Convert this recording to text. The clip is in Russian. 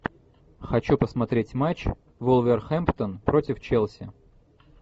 хочу посмотреть матч вулверхэмптон против челси